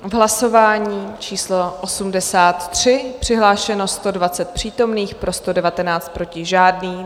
V hlasování číslo 83 přihlášeno 120 přítomných, pro 119, proti žádný.